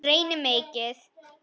Reyni mikið.